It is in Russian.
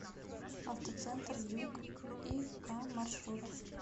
автоцентр дюк и к маршрут